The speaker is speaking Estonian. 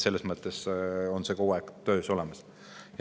Selles mõttes on need asjad kogu aeg töös.